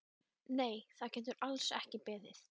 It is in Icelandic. Nei, það getur alls ekki beðið!